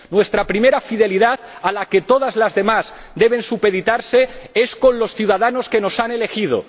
Nuestra primera fidelidad, a la que todas las demás deben supeditarse, es para con los ciudadanos que nos han elegido.